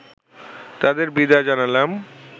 তাদের বিদায় জানালাম